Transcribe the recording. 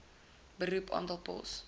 beroep aantal pos